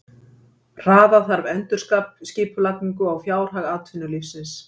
Hraða þarf endurskipulagningu á fjárhag atvinnulífsins